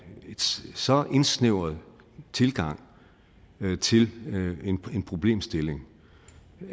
så indsnævret tilgang til en problemstilling